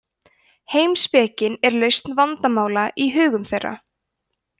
heimspekin er lausn vandamála í hugum þeirra